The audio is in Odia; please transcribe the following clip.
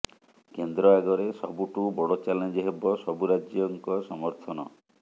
କେନ୍ଦ୍ର ଆଗରେ ସବୁଠୁ ବଡ ଚ୍ୟାଲେଞ୍ଜ ହେବ ସବୁ ରାଜ୍ୟଙ୍କ ସମର୍ଥନ